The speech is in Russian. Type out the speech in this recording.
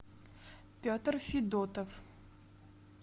петр федотов